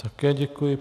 Také děkuji.